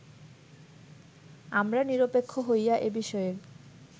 আমরা নিরপেক্ষ হইয়া এ বিষয়ের